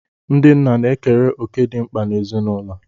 Ndị nna na-ekere òkè dị mkpa n'ezinụlọ